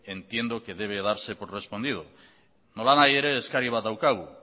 entiendo que debe darse por respondido nolanahi ere eskari bat daukagu